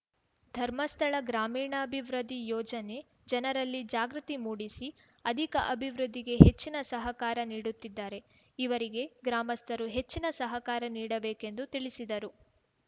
ಧರ್ಮಸ್ಥಳ ಗ್ರಾಮೀಣಾ ಭಿವೃದ್ಧಿ ಯೋಜನೆ ಜನರಲ್ಲಿ ಜಾಗೃತಿ ಮೂಡಿಸಿ ಅಧಿಕ ಅಭಿವೃದ್ಧಿಗೆ ಹೆಚ್ಚಿನ ಸಹಕಾರ ನೀಡುತ್ತಿದ್ದಾರೆ ಇವರಿಗೆ ಗ್ರಾಮಸ್ಥರು ಹೆಚ್ಚಿನ ಸಹಕಾರ ನೀಡಬೇಕೆಂದು ತಿಳಿಸಿದರು